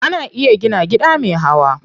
Ana iya gina gida me hawa.